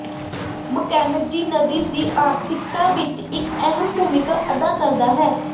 Mackenzie ਨਦੀ ਦੀ ਆਰਥਿਕਤਾ ਵਿੱਚ ਇੱਕ ਅਹਿਮ ਭੂਮਿਕਾ ਅਦਾ ਕਰਦਾ ਹੈ